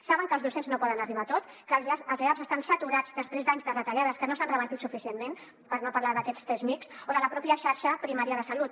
saben que els docents no poden arribar a tot que els eaps estan saturats després d’anys de retallades que no s’han revertit suficientment per no parlar d’aquests csmijs o de la pròpia xarxa primària de salut